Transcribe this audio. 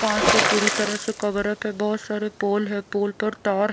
कांच से पूरी तरह से कवर अप है बहुत सारे पोल है पोल पर तार--